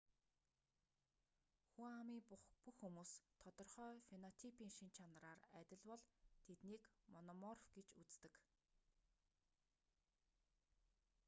хүн амын бүх хүмүүс тодорхой фенотипийн шинж чанараар адил бол тэднийг мономорф гэж үздэг